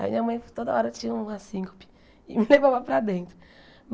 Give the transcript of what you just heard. Aí minha mãe toda hora tinha um assíncope e me levava para dentro.